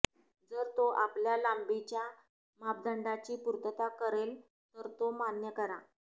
जर तो आपल्या लांबीच्या मापदंडाची पूर्तता करेल तर तो मान्य करा